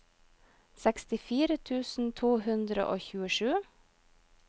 sekstifire tusen to hundre og tjuesju